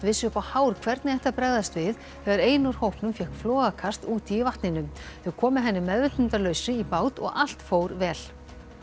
vissu upp á hár hvernig ætti að bregðast við þegar ein úr hópnum fékk flogakast úti í vatninu þau komu henni meðvitundarlausri í bát og allt fór vel